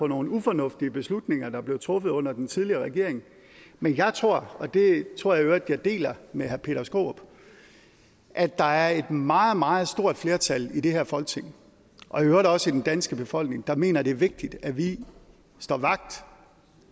nogle ufornuftige beslutninger der blev truffet under den tidligere regering men jeg tror og det tror jeg i øvrigt jeg deler med herre peter skaarup at der er et meget meget stort flertal i det her folketing og i øvrigt også i den danske befolkning der mener at det er vigtigt at vi står vagt